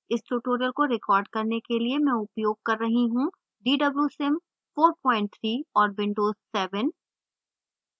इस tutorial को record करने के लिए मैं उपयोग कर रही हूँ dwsim 43 और windows 7